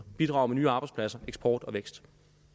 bidrager med nye arbejdspladser eksport og vækst